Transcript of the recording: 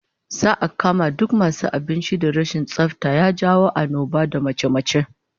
Za'a kama duk masu gidajen abincin da rashin tsafta ya jawo annoba da mace-mace